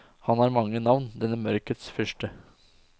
Han har mange navn denne mørkets fyrste.